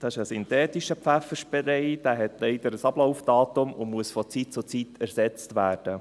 es ist ein synthetischer Pfefferspray, er hat leider ein Ablaufdatum und muss von Zeit zu Zeit ersetzt werden.